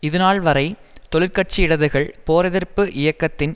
இதுநாள் வரை தொழிற்கட்சி இடதுகள் போர் எதிர்ப்பு இயக்கத்தின்